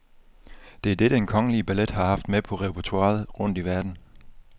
Det er det, den kongelige ballet har haft med på repertoiret rundt i verden.